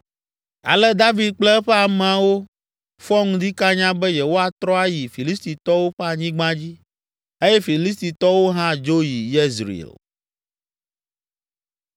Ale David kple eƒe amewo fɔ ŋdi kanya be yewoatrɔ ayi Filistitɔwo ƒe anyigba dzi eye Filistitɔwo hã dzo yi Yezreel.